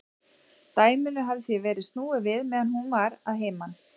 Dæminu hafði því verið snúið við meðan hún var að heiman.